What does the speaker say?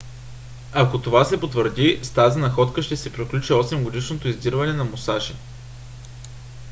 ако това се потвърди с тази находка ще се приключи осемгодишното издирване на мусаши